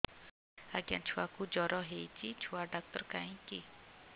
ଆଜ୍ଞା ଛୁଆକୁ ଜର ହେଇଚି ଛୁଆ ଡାକ୍ତର କାହିଁ କି